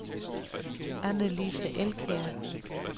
Anne-Lise Elkjær